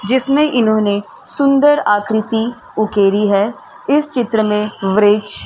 जिसमे इन्होने सुन्दर आकृति उकेरी है। इस चित्र में वृक्ष --